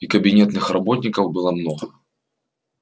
и кабинетных работников было много